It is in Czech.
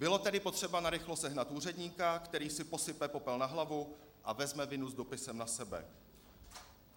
Bylo tedy potřeba narychlo sehnat úředníka, který si posype popel na hlavu a vezme vinu s dopisem na sebe.